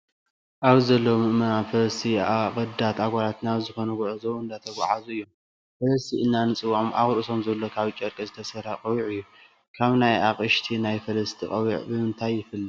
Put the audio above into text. ኣብዚ ዘለው ምእመናን ፈረስቲ ኣቀዳት ኣጓላት ናብ ዝኮነ ጉዕዞ እንዳተጉዓዙ እዮም። ፈለስቲ ኢልና እንፅወዖም ኣብ ርእሶም ዘሎ ካብ ጨርቂ ዝተሰርሐ ቆቢዕ እዩ። ካብ ናይ ኣቅሽቲ ናይ ፈለስቲ ቆቢዕ ብምንታይ ይፍለ ?